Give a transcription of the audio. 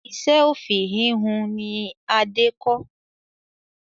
Iṣẹ́ òfì ìhun ni Adé kọ́